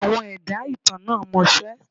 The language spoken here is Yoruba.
Àwọn ẹ̀dá ìtàn náà mọṣẹ́.